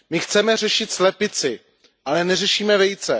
My chceme řešit slepici, ale neřešíme vejce.